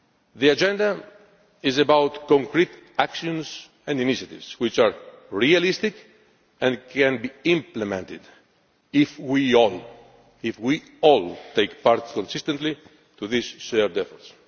The Agenda is about concrete actions and initiatives, which are realistic and can be implemented if we all take part consistently in this shared effort.